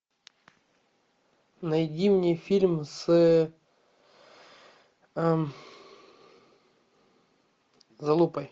найди мне фильм с залупой